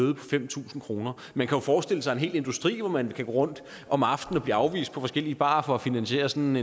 fem tusind kroner man kan jo forestille sig en hel industri hvor man kan gå rundt om aftenen og blive afvist på forskellige barer for at finansiere sådan